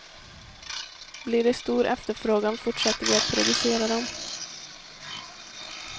Blir det stor efterfrågan fortsätter vi att producera dem.